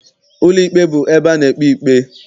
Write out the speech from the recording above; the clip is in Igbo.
Ụlọikpe bụ ebe a na-ekpe ikpe.